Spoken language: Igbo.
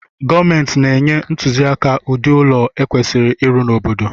Gomenti na-enye ntuziaka udi ụlọ e kwesiri ịrụ n’obodo